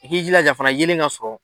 I k'i jila fɛnɛ yelen ka sɔrɔ